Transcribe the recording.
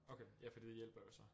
Okay ja fordi det hjælper jo så